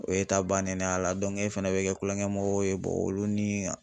O y'e ta bannen de y'a la e fana bɛ kɛ tulonkɛ mɔgɔw ye olu ni